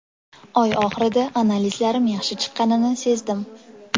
Oy oxirida analizlarim yaxshi chiqqanini sezdim.